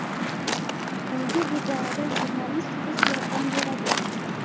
Unga bu borada jurnalist qiz yordam beradi.